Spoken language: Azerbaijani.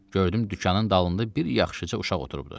Gördüm dükanın dalında bir yaxşıca uşaq oturubdu.